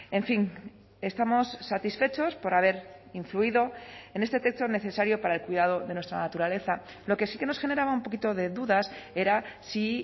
en fin estamos satisfechos por haber influido en este texto necesario para el cuidado de nuestra naturaleza lo que sí que nos generaba un poquito de dudas era si